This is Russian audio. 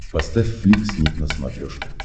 поставь флик снип на смотрешке